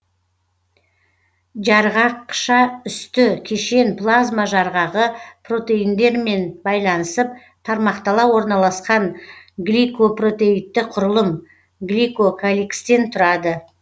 жарғақшаүсті кешен плазма жарғағы протеиндерімен байланысып тармақтала орналасқан гликопротеидті құрылым гликокаликстен тұрады